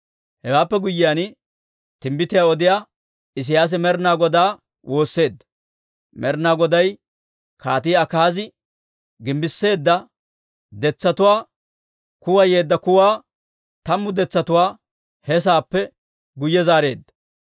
Hewaappe guyyiyaan, timbbitiyaa odiyaa Isiyaasi Med'ina Godaa woosseedda; Med'ina Goday Kaatii Akaazi gimbbissiide detsatuwaa kuwayeedda kuwaa tammu detsatuwaa he saappe guyye zaareedda.